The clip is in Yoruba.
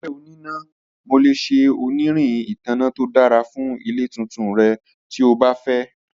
Mo jẹ onina, Mo le ṣe onirin itanna to dara fun ile tuntun rẹ ti o ba fẹ.